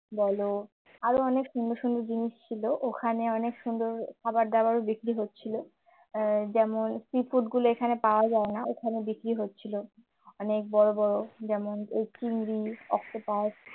বলো আরো অনেক সুন্দর সুন্দর জিনিস ছিল ওখানে অনেক সুন্দর খাবার দাবার ও বিক্রি হচ্ছিল যেমন sea food গুলো এখানে পাওয়া যায় না ওখানে বিক্রি হচ্ছিল অনেক বড় বড় যেমন এই চিংড়ি অক্টোপাস